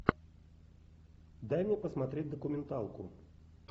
дай мне посмотреть документалку